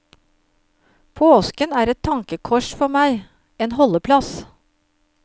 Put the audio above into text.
Påsken er et tankekors for meg, en holdeplass.